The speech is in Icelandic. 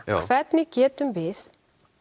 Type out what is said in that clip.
hvernig getum við